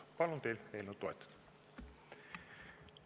Palun teil eelnõu toetada!